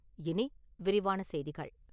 இனி விரிவான செய்திகள்.